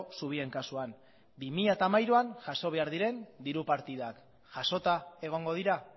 zubien kasuan bi mila hamairuan jaso behar diren diru partidak jasota egongo dira